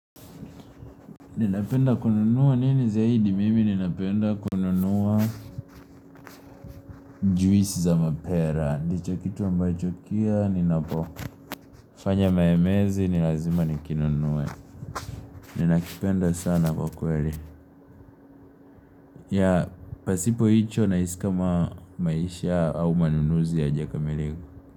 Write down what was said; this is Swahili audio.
Ninapenda kununua nini zaidi? Mimi ninapenda kununua juisi za mapera, ndicho kitu ambacho kia ninapofanya mayemezi nilazima nikinunuwe, ninakipenda sana kwakweli, ya pasipo icho nahisi kama maisha au manunuzi ya jakamilika.